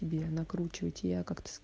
накручивать я как то